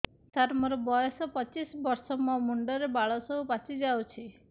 ସାର ମୋର ବୟସ ପଚିଶି ବର୍ଷ ମୋ ମୁଣ୍ଡରେ ବାଳ ସବୁ ପାଚି ଯାଉଛି